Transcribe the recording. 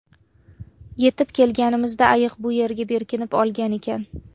Yetib kelganimizda ayiq bu yerga berkinib olgan ekan.